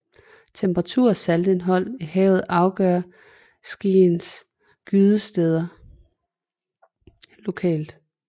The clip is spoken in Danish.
Temperatur og saltindhold i havet afgør skreiens gydesteder lokalt